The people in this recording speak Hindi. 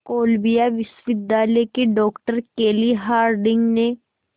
कोलंबिया विश्वविद्यालय की डॉक्टर केली हार्डिंग ने